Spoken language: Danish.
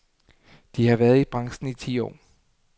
De har været i branchen i ti år.